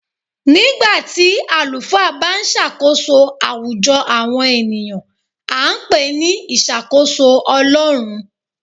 Nígbà tí àlùfáà bá ń ṣàkóso àwùjọ àwọn ènìyàn, a ń pè ní ìṣàkóso Ọlọrun.